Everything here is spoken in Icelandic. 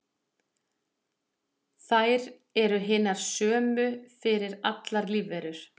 þær eru hinar sömu fyrir allar lífverur